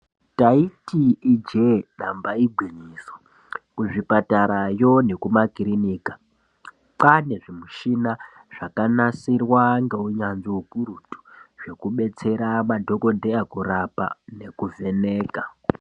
Ndaiti ijee damba igwinyiso, kuzvipatara yo nekumakirinika . Kwaane zvimushina zvakanasirwa ngeunyanzvi ukurutu zvekubetsera madhokodheya kurapa nekuvheneka.